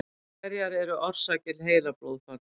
Hverjar eru orsakir heilablóðfalls?